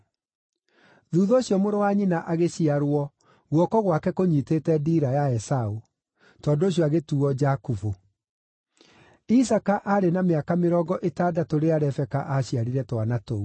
Thuutha ũcio mũrũ wa nyina agĩciarwo guoko gwake kũnyiitĩte ndiira ya Esaũ; tondũ ũcio agĩtuuo Jakubu. Isaaka aarĩ na mĩaka mĩrongo ĩtandatũ rĩrĩa Rebeka aaciarire twana tũu.